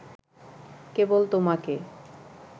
কেবল তোমাকে